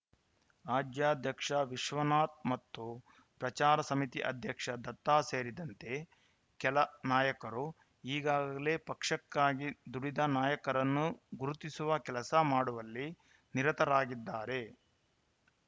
ರಾಜ್ಯಾಧ್ಯಕ್ಷ ವಿಶ್ವನಾಥ್‌ ಮತ್ತು ಪ್ರಚಾರ ಸಮಿತಿ ಅಧ್ಯಕ್ಷ ದತ್ತ ಸೇರಿದಂತೆ ಕೆಲ ನಾಯಕರು ಈಗಾಗಲೇ ಪಕ್ಷಕ್ಕಾಗಿ ದುಡಿದ ನಾಯಕರನ್ನು ಗುರುತಿಸುವ ಕೆಲಸ ಮಾಡುವಲ್ಲಿ ನಿರತರಾಗಿದ್ದಾರೆ